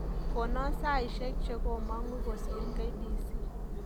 Konon saishek chegomangu kosiir kbc